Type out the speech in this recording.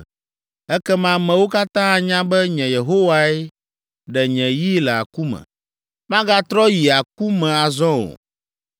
Ekema amewo katã anya be nye Yehowae ɖe nye yi le aku me; magatrɔ yi aku me azɔ o.’